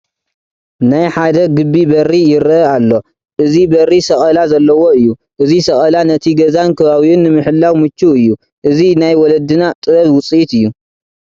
ናይ ሓደ ግቢ በሪ ይርአ ኣሎ፡፡ እዚ በሪ ሰቐለ ዘለዎ እዩ፡፡ እዚ ሰቐላ ነቲ ገዛን ከባቢኡን ንምሕላው ምቹው እዩ፡፡ እዚ ናይ ወለድና ጥበብ ውፅኢት እዩ፡፡